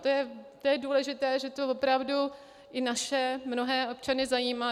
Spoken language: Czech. To je důležité, že to opravdu i naše mnohé občany zajímá.